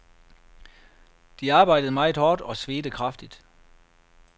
De arbejdede meget hårdt og svedte kraftigt.